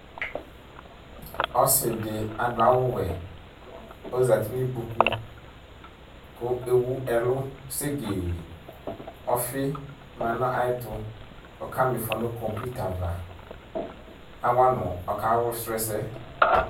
Ɔsɩ ɖɩ aɖʋ awʋ wɛ, ozat nʋ ƙƥoƙu; ƙʋ ewu ɛlʋ segeeƆfɩ ma nʋ aƴɛtʋƆƙa ma ɩfɔ nʋ ƙɔ fitava ɔƙa sʋ ɛsɛ